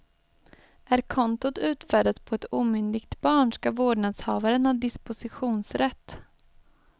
Är kontot utfärdat på ett omyndigt barn skall vårdnadshavaren ha dispositionsrätt.